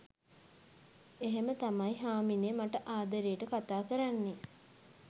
එහෙම තමයි හාමිනේ මට ආදරේට කතා කරන්නේ